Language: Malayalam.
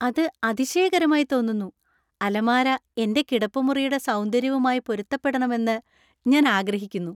അത് അതിശയകരമായി തോന്നുന്നു! അലമാര എന്‍റെ കിടപ്പുമുറിയുടെ സൗന്ദര്യവുമായി പൊരുത്തപ്പെടണമെന്ന് ഞാൻ ആഗ്രഹിക്കുന്നു.